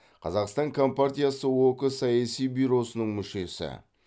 қазақстан компартиясы ок саяси бюросының мүшесі